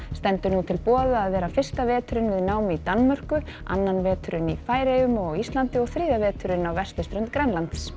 stendur nú til boða að vera fyrsta veturinn við nám í Danmörku annan veturinn í Færeyjum og á Íslandi og þriðja veturinn á vesturströnd Grænlands